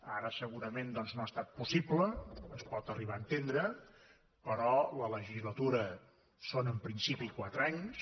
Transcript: ara segurament doncs no ha estat possible es pot arribar a entendre però les legislatures són en principi de quatre anys